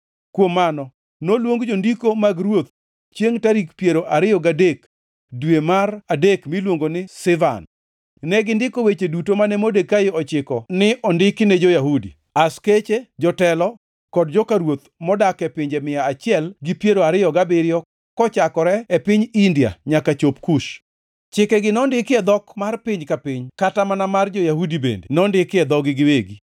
Kuom mano, noluong jondiko mag ruoth chiengʼ tarik piero ariyo gadek dwe mar adek miluongo ni Sivan. Negindiko weche duto mane Modekai ochiko ne ondiki ne jo-Yahudi, askeche, jotelo, kod joka ruoth modak e pinje mia achiel gi piero ariyo gabiriyo kochakore e piny India nyaka chop Kush. Chikegi nondiki e dhok mar piny ka piny kata mana mar jo-Yahudi bende nondiki e dhogi giwegi.